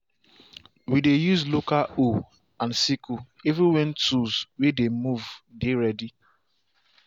we dey use local hoe and sickle even when tools way dey move dey ready.